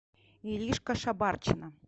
иришка шабарчина